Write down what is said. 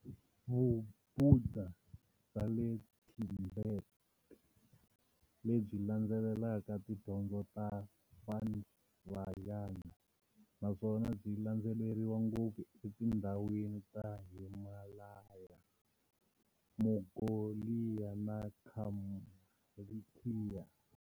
Vubhuda bya le Thibheti, lebyi landzelelaka tidyondzo ta Vajrayana, naswona byi landzeleriwa ngopfu e tindzhawini ta Himalaya, Mongholiya na Kalmykiya.